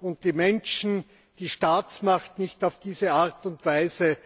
und die Menschen die Staatsmacht nicht auf diese Art und Weise